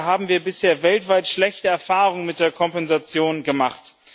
Dabei haben wir bisher weltweit schlechte Erfahrungen mit der Kompensation gemacht.